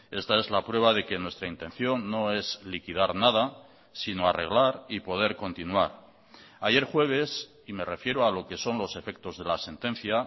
esta es la prueba de que nuestra intención no es liquidar nada sino arreglar y poder continuar ayer jueves y me refiero a lo que son los efectos de la sentencia